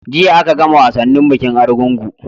Jiya a ka gama wasannin bikin argungu